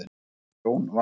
Nokkurt tjón varð.